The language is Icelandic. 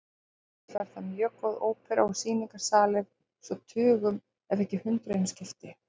Sömuleiðis var þar mjög góð ópera og sýningarsalir svo tugum ef ekki hundruðum skipti.